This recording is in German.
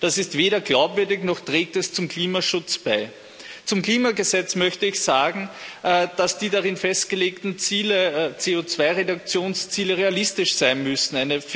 Das ist weder glaubwürdig noch trägt es zum Klimaschutz bei. Zum Klimagesetz möchte ich sagen, dass die darin festgelegten CO2-Reduktionsziele realistisch sein müssen.